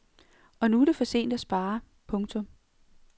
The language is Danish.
Og nu er det for sent at spare. punktum